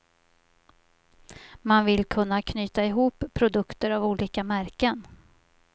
Man vill kunna knyta ihop produkter av olika märken.